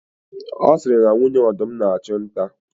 A siri na nwunye ọdụm na-achụ nta.